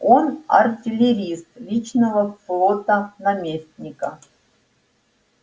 он артиллерист личного флота наместника